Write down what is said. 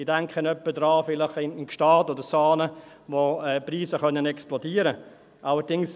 Ich denke vielleicht etwa an Gstaad oder Saanen, wo die Preise explodieren können.